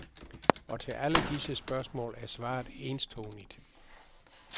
Og til alle disse spørgsmål er svaret enstonigt.